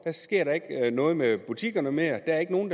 sker der ikke noget med butikkerne mere der er ikke nogen